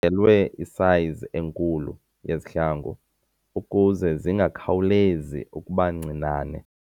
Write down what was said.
Uthengelwe isayizi enkulu yezihlangu ukuze zingakhawulezi ukuba ncinane.